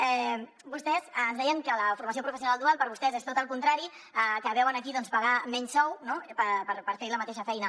vostès ens deien que la formació professional dual per vostès és tot el contrari que veuen aquí pagar menys sou per fer la mateixa feina